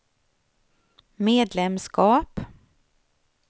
medlemskap